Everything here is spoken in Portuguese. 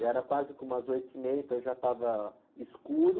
Já era quase que umas oito e meia, então já estava escuro.